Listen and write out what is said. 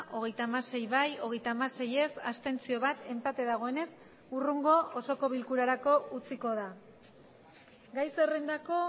hogeita hamasei bai hogeita hamasei ez bat abstentzio enpate dagoenez hurrengo osoko bilkurarako utziko da gai zerrendako